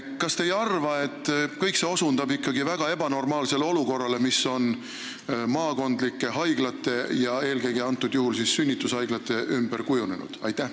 Kas te ei arva, et kõik see osutab ikkagi väga ebanormaalsele olukorrale, mis on maakondlike haiglate ja eelkõige sünnitusosakondade ümber kujunenud?